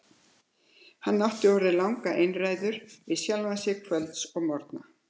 Hann átti orðið langar einræður við sjálfan sig kvölds og morgna.